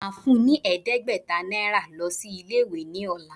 Màá fún ọ ní ẹ̀ẹ́dẹ́gbẹ̀ta Náírà lo sí Ilé ìwé ní òla